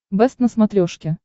бэст на смотрешке